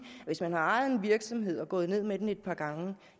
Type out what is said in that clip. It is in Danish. at hvis man har ejet en virksomhed og er gået ned med den et par gange